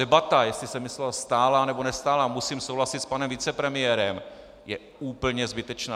Debata, jestli se myslelo stálá, nebo nestálá, musím souhlasit s panem vicepremiérem, je úplně zbytečná.